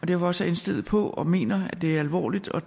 derfor også indstillet på og mener at det er alvorligt og